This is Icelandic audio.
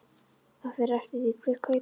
Það fer eftir því hver kaupir.